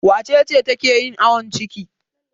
Wace ce take yin awon ciki?